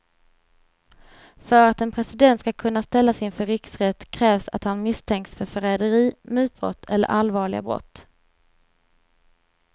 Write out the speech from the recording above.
För att en president ska kunna ställas inför riksrätt krävs att han misstänks för förräderi, mutbrott eller allvarliga brott.